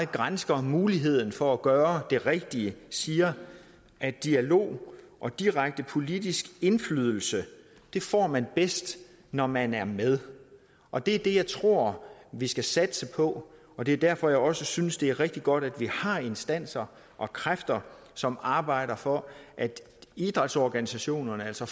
gransker muligheden for at gøre det rigtige siger at dialog og direkte politisk indflydelse får man bedst når man er med og det er det jeg tror vi skal satse på og det er derfor jeg også synes det er rigtig godt at vi har instanser og kræfter som arbejder for at idrætsorganisationerne altså